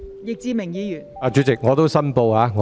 易志明議員，你有甚麼問題？